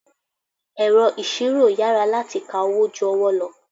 Ẹ̀rọ ìṣirò yára láti ka owó ju ọwọ́ lọ.